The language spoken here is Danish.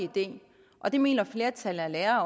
idé og det mener flertallet af lærerne